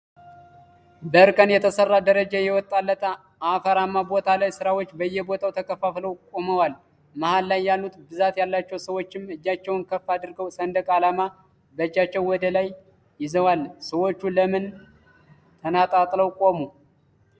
በእርከን የተሰራ ደረጃ የወጣለት አፈራማ ቦታ ላይ ሰዎች በየቦታው ተከፋፍለው ቆመዋአል መሃል ላይ ያሉት ብዛት ያላቸው ሰዎችም እጃቸውን ከፍ አድርገው ሰንደቅ አላማ በእጃቸው ወደላይ ይዘዋል። ሰዎቹ ለምን ተነጣጥለው ቆሙ?